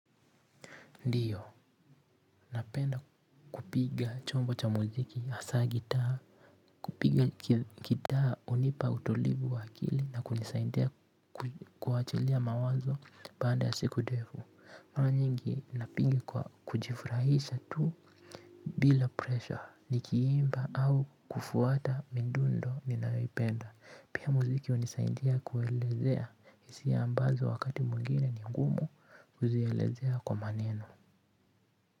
Ndiyo napenda kupiga chombo cha muziki hasa gitaa kupiga gitaa hunipa utulivu wa akili na kunisaidia kuachilia mawazo baada ya siku ndefu. Mara nyingi napiga kwa kujifurahisha tu bila pressure nikiimba au kufuata midundo ninayoipenda. Pia muziki hunisaidia kuelezea hisia ambazo wakati mwingine ningumu kuzielezea kwa maneno.